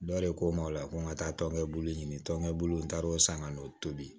Dɔ de ko ma o la ko n ka taa tɔnɲɛbulu ɲini tɔnkɛ bolo in n taara o san ka n'o tobi